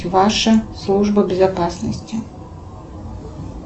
ваша служба безопасности